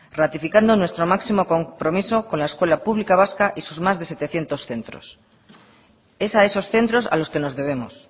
ratificando nuestro máximo compromiso con la escuela pública vasca y sus más de setecientos centros es a esos centros a los que nos debemos